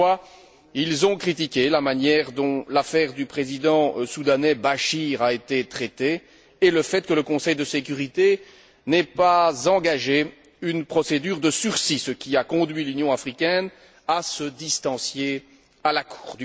Toutefois, ils ont critiqué la manière dont l'affaire du président soudanais, Béchir, a été traitée et le fait que le Conseil de sécurité n'ait pas engagé de procédure de sursis, ce qui a conduit l'Union africaine à se distancier de la Cour.